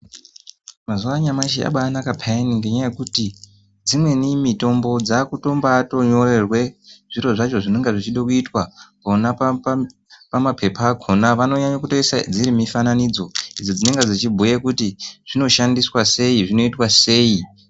Mazuva anyamashi abainaka peyani ngenyaya yekuti dzimweni mitombo dzakuto bainyorerwe zviro zvacho zvinonga zvichida kuitwa pamapepa akona ,vanonyanyotoise dziri mufananidzo dzinonga dzichibhuya kuti zvinoshandiswa seii zvinoitwa sei.